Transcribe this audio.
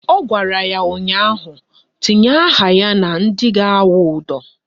Ọ gwara ya ụnyaahụ "Tinye aha ya na ndị ga-awụ ụdọ"!